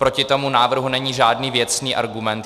Proti tomu návrhu není žádný věcný argument.